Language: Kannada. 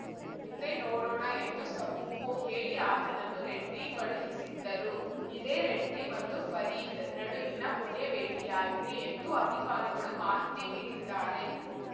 ಮುಂದೆ ನೋಡೋಣ ಎಂದು ಸಬೂಬು ಹೇಳಿ ಆತನನ್ನು ರೆಡ್ಡಿ ಕಳುಹಿಸಿದ್ದರು ಇದೇ ರೆಡ್ಡಿ ಮತ್ತು ಫರೀದ್‌ ನಡುವಿನ ಕೊನೆ ಭೇಟಿಯಾಗಿದೆ ಎಂದು ಅಧಿಕಾರಿಗಳು ಮಾಹಿತಿ ನೀಡಿದ್ದಾರೆ